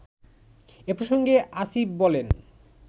এ প্রসঙ্গে আসিফ বলেন